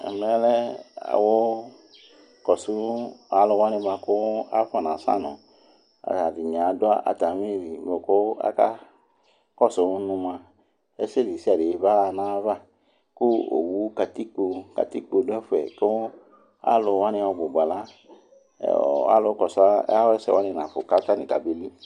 Ɛmɛ lɛ alʊ ƙɔsʊvalʊ waŋɩ ɓʊaƙʊ afɔŋasaŋʊ Alʊ ɛdɩŋɩ adʊ atamɩ lɩ kakɔsʊ ŋʊ mʊa ɛsɛ desiade baya dʊ ŋayaʋa Ƙʊ owʊ kat8ƙpi dʊ ɛfʊɛ ƙʊ alʊ waŋɩ ɔɓʊɓa alʊ kɔsʊ awasɛ waŋɩ aŋafʊ kabelɩ